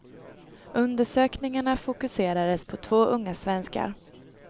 Undersökningarna fokuserades på två unga svenskar.